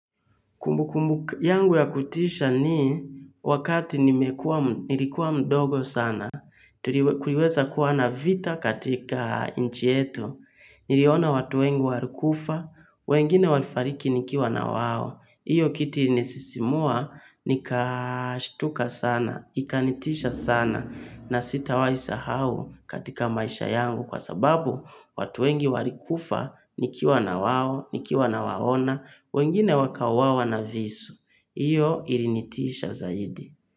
Kumbu kumbu yangu ya kutisha ni wakati nilikuwa mdogo sana, kuliweza kuwa na vita katika nch yetu niliona watu wengi walikufa, wengine walifariki nikiwa na wao, hiyo kitu ilinisisimua, nikashtuka sana, ikanitisha sana, na sitawahi sahau katika maisha yangu kwa sababu watu wengi walikufa, nikiwa nawao, nikiwa nawaona, wengine wakauawa na visu, hiyo ilinitisha zaidi.